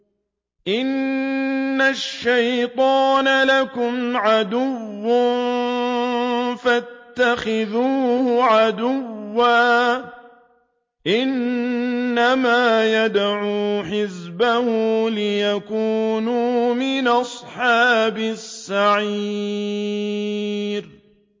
إِنَّ الشَّيْطَانَ لَكُمْ عَدُوٌّ فَاتَّخِذُوهُ عَدُوًّا ۚ إِنَّمَا يَدْعُو حِزْبَهُ لِيَكُونُوا مِنْ أَصْحَابِ السَّعِيرِ